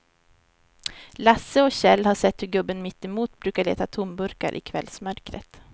Lasse och Kjell har sett hur gubben mittemot brukar leta tomburkar i kvällsmörkret.